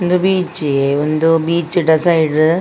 ಒಂದು ಬೀಚ್ ಒಂದು ಬೀಚುದ ದ ಸೈಡ್ .